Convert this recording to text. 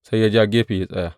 Sai ya ja gefe ya tsaya.